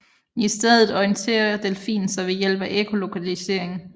I stedet orienterer delfinen sig ved hjælp af ekkolokalisering